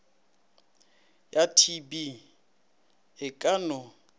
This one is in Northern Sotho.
ya tb e ka no